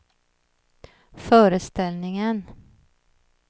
föreställningen